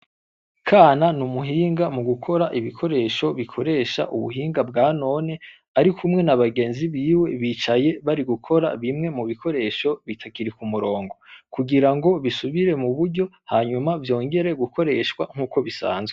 Kana n'umuhinga mu gukora ibikoresho bikoresha ubuhinga bwanone, arikumwe n'abagenzi biwe bicaye bari gukora bimwe mu bikoresho bitakiri ku murongo kugira ngo bisubire mu buryo hanyuma vyongere gukoreshwa nkuko bisanzwe.